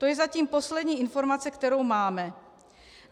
To je zatím poslední informace, kterou máme.